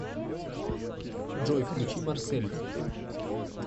джой включи марсель